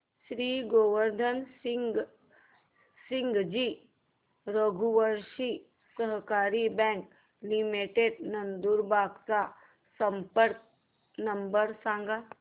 श्री गोवर्धन सिंगजी रघुवंशी सहकारी bank limited Nandurbar चा संपर्क नंबर सांगा